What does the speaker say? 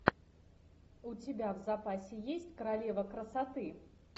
у тебя в запасе есть королева красоты